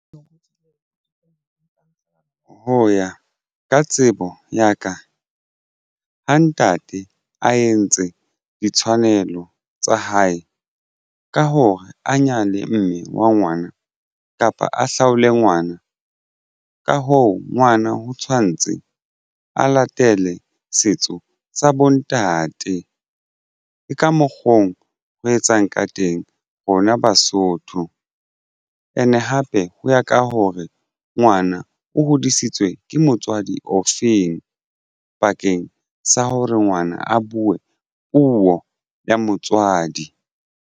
Ho ya ka tsebo ya ka ha ntate a entse ditshwanelo tsa hae ka hore a nyale mme wa ngwana kapa a hlaole ngwana ka hoo ngwana ho tshwantse a latele setso sa bontate. Ke ka mokgo ho re etsang ka teng rona basotho and hape ho ya ka hore ngwana o hodisitswe ke motswadi ofeng pakeng sa hore ngwana a bue puo ya motswadi.